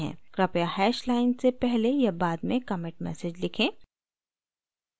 कृपया hash line से पहले या बाद में commit message लिखें